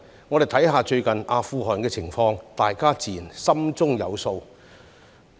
我們看看最近阿富汗的情況，大家自然心中有數。